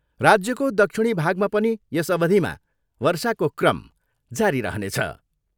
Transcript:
राज्यको दक्षिणी भागमा पनि यस अवधिमा वर्षाको क्रम जारी रहनेछ।